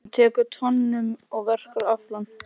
Hún tekur við tonnunum og verkar aflann.